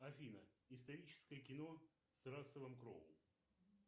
афина историческое кино с расселом кроу